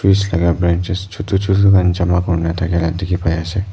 piece laka branches chutu chutu khan jama kuriala diki pai asae.